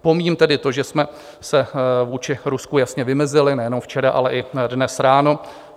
Pomíjím tedy to, že jsme se vůči Rusku jasně vymezili nejenom včera, ale i dnes ráno.